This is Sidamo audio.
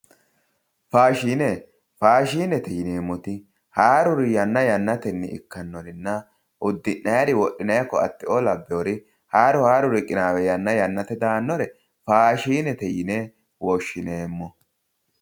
Faashine, faashinete yineemmoti haaruri yanna yannatenni ikkannorinna uddi'ayiiri wodhinaayiri koatteoo abbewoori haaru haaruri qinaawe yanna yannate daannore faashinete yine woshshineemmo.